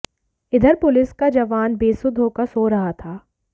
इधर पुलिस का जवान बेसुध होकर सो रहा था